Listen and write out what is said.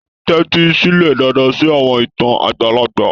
Tẹ́tí sílẹ̀ dáadáa sí àwọn ìtàn àgbàlagbà.